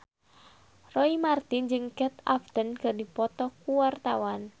Roy Marten jeung Kate Upton keur dipoto ku wartawan